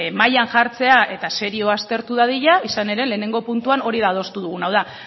mailan jartzea eta serio aztertu dadila izan ere lehenengo puntuan hori adostu duguna da hau da